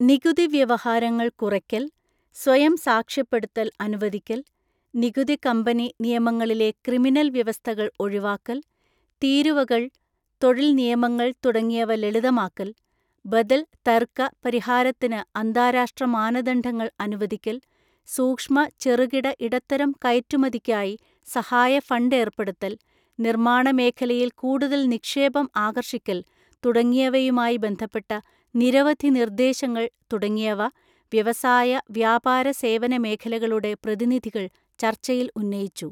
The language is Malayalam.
നികുതിവ്യവഹാരങ്ങള്‍ കുറയ്ക്കല്‍, സ്വയംസാക്ഷ്യപ്പെടുത്തല്‍ അനുവദിക്കല്‍, നികുതി കമ്പനി നിയമങ്ങളിലെ ക്രിമിനല്‍ വ്യവസ്ഥകള്‍ ഒഴിവാക്കല്‍, തീരുവകള്‍, തൊഴില്‍ നിയമങ്ങള്‍ തുടങ്ങിയവലളിതമാക്കല്‍, ബദല്‍ തര്ക്ക പരിഹാരത്തിന് അന്താരാഷ്ട്ര മാനദണ്ഡങ്ങള്‍ അനുവദിക്കല്‍ സൂക്ഷ്മ, ചെറുകിട, ഇടത്തരം കയറ്റുമതിക്കായി സഹായ ഫണ്ട് ഏര്‍പ്പെടുത്തല്‍ നിര്മ്മാണ മേഖലയില്‍ കൂടുതല്‍ നിക്ഷേപം ആകര്ഷിക്കല്‍ തുടങ്ങിയവയുമായി ബന്ധപ്പെട്ട നിരവധി നിര്ദ്ദേശങ്ങള്‍ തുടങ്ങിയവ വ്യവസായ, വ്യാപാര സേവന മേഖലകളുടെ പ്രതിനിധികള്‍ ചര്ച്ചയില്‍ ഉന്നയിച്ചു.